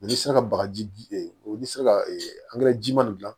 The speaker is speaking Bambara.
n'i sera ka bagaji n'i sera ji ma nin dila